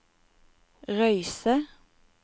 Røyse